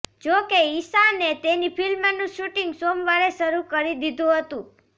જોકે ઈશાને તેની ફિલ્મનું શૂટિંગ સોમવારે શરૂ કરી દીધુંહતું